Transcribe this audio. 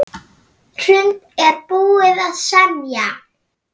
Hrund: Er búið að semja?